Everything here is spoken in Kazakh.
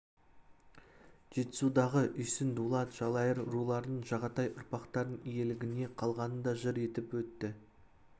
жетісудағы үйсін дулат жалайыр руларының жағатай ұрпақтарының иелігіне қалғанын да жыр етіп өтті